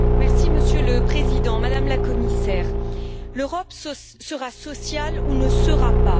Monsieur le Président, Madame la Commissaire, l'Europe sera sociale ou ne sera pas.